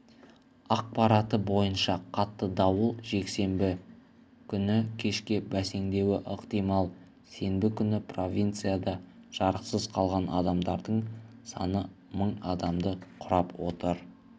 ақпараты бойынша қатты дауыл жексенбі күні кешке бәсеңдеуі ықтимал сенбі күні провинцияда жарықсыз қалған адамдардың саны мың адамды құрап отыр